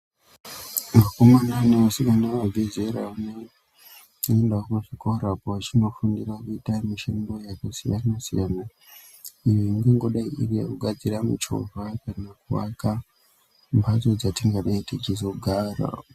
Vakomana nevasikana vabve zera vanoendawo muzvikora apo vachinofundira kuita mishando yakasiyana-siyana iyo ingangodai iri yekugadzira michovha kana kuaka mhatso dzatingadai tichizogara.